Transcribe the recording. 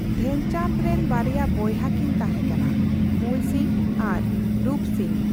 ᱫᱷᱮᱱᱪᱟᱸᱰᱽ ᱨᱮᱱ ᱵᱟᱨᱭᱟ ᱵᱚᱭᱦᱟ ᱠᱤᱱ ᱛᱟᱸᱦᱮ ᱠᱟᱱᱟ ᱼ ᱢᱩᱞ ᱥᱤᱝ ᱟᱨ ᱨᱩᱯ ᱥᱤᱝ ᱾